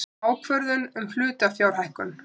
Ákvörðun um hlutafjárhækkun.